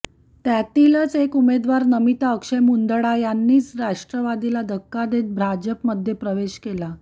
त्यातीलच एक उमेदवार नमिता अक्षय मुंदडा यांनीच राष्ट्रवादीला धक्का देत भाजपमध्ये प्रवेश केला